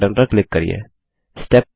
और next button पर click करिये